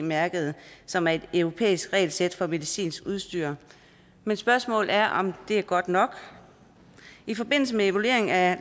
mærket som er et europæisk regelsæt for medicinsk udstyr men spørgsmålet er om det er godt nok i forbindelse med evalueringen af